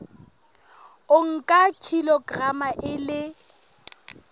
o nka kilograma e le